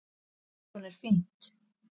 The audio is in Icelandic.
Beikon er fínt!